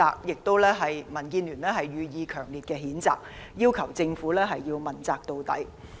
就此，民建聯對港鐵公司予以強烈譴責，要求政府必須問責到底。